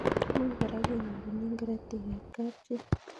Much kora kenyorune karatik ab kapchii